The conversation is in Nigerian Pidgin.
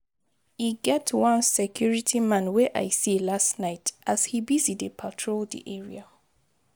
E get one security man wey I see last night as he busy dey patrol the area